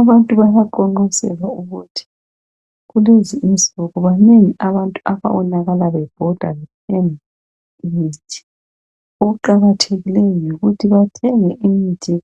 Abantu bayaqonqoselwa ukuthi kulezi insuku banengi abantu ababobakala bebhoda bethenga imithi. Okuqakathekileyo yikuthi bathenge imithi